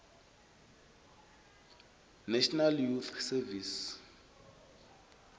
national youth service